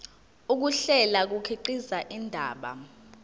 ukuhlela kukhiqiza indaba